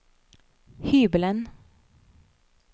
hybelen